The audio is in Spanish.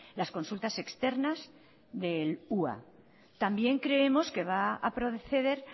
las consultas externas del ua también creemos que va a proceder